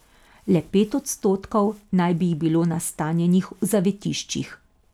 Le pet odstotkov naj bi jih bilo nastanjenih v zavetiščih.